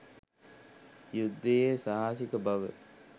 යුද්ධයේ සාහසික බව